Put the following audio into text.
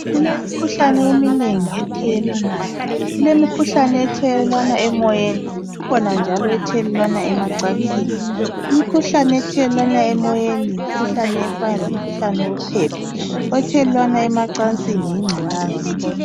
Kulemikhuhlane eminebgi ethelelwanayo. Kulemikhuhlane ethelelwana emoyeni, kukhona njalo lemikhuhlane ethelelanwa . Imkhuhlane othelelwana emoyeni yimikhuhlane efana lemikhuhlane wophepha. Ethelelanwa emancansini yingculaza.